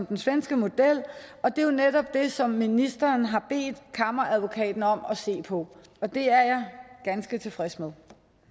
den svenske model og det er jo netop det som ministeren har bedt kammeradvokaten om at se på og det er jeg ganske tilfreds med